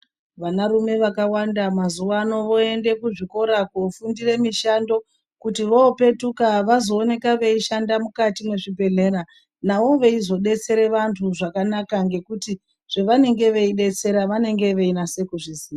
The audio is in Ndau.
Vanarune vakawanda mazuwano voende kuzvikora kofundire mishando kuti vopetuka vazooneka veishanda mukati mwezvibhedhleya navo veizodetsere vantu zvakanaka ngekuti zvavanenge veidetsera vanenge veinase kuzviziya.